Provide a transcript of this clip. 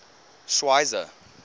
schweizer